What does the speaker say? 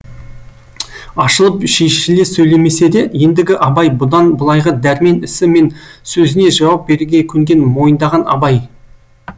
ашылып шешіле сөйлемесе де ендігі абай бұдан былайғы дәрмен ісі мен сөзіне жауап беруге көнген мойындаған абай